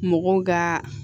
Mɔgɔw ka